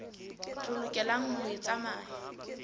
re lokelang ho e tsamaya